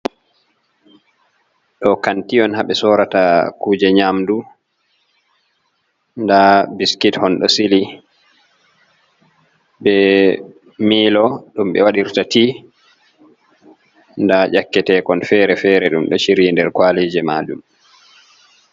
Ɗo kanti on ha ɓe sorata kuje nyamdu, nda biskit hon ɗo sili be milo ɗum ɓe waɗirta tea, nda dyakketekon fere fere ɗum ɗo chiriyi nder kwaliji majum.